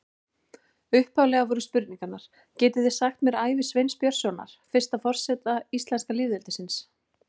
Upphaflega voru spurningarnar: Getið þið sagt mér frá ævi Sveins Björnssonar, fyrsta forseta íslenska lýðveldisins?